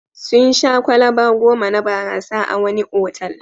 Sun sha kwalaba goma na barasa a wani otal.